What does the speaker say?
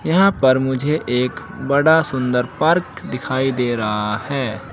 यहां पर मुझे एक बड़ा सुंदर पार्क दिखाई दे रहा है।